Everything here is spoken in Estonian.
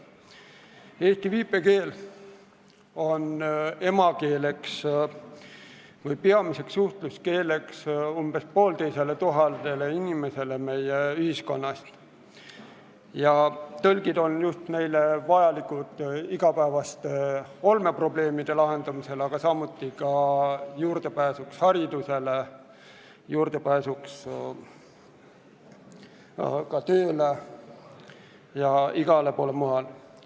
Eesti viipekeel on emakeeleks või peamiseks suhtluskeeleks umbes poolteisele tuhandele inimesele meie ühiskonnast ja tõlgid on neile vajalikud igapäevaste olmeprobleemide lahendamiseks, aga samuti selleks, et tagada nende juurdepääs haridusele, tööle ja igale poole mujale.